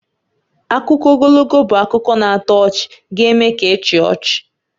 Akụkọ ogologo bụ akụkọ na-atọ ọchị ga-eme ka ị chịa ọchị